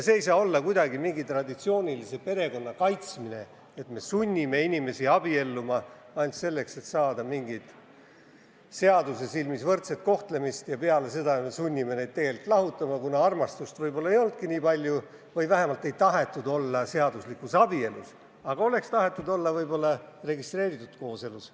See ei ole kuidagi traditsioonilise perekonna kaitsmine, kui me sunnime inimesi abielluma ainult selleks, et saada seaduse silmis võrdset kohtlemist, ja peale seda sunnime neid ka lahutama, kuna armastust võib-olla ei olnudki eriti või vähemalt ei tahetud olla seaduslikus abielus, aga oleks tahetud elada registreeritud kooselu.